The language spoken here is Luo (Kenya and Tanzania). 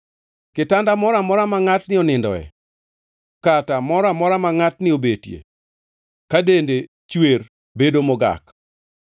“ ‘Kitanda moro amora ma ngʼatni onindoe kata moro amora ma ngʼatni obetie ka dende chwer bedo mogak.